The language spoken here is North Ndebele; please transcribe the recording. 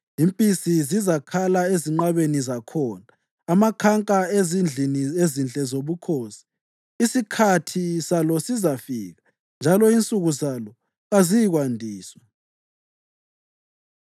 Impisi zizakhala ezinqabeni zakhona, amakhanka ezindlini ezinhle zobukhosi. Isikhathi salo sesizafika njalo insuku zalo kaziyikwandiswa.